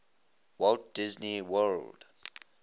walt disney world